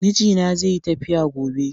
Mijina zeyi tafiya gobe.